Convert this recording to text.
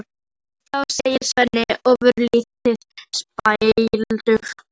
Jæja þá, segir Svenni ofurlítið spældur.